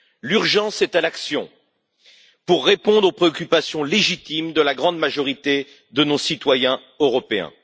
L'urgence est à l'action pour répondre aux préoccupations légitimes de la grande majorité de nos citoyens européens.